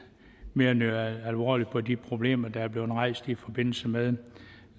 mere alvorligt på de problemer der er blevet rejst i forbindelse med